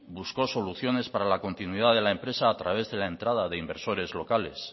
buscó soluciones para la continuidad de la empresa a través de la entrada de inversores locales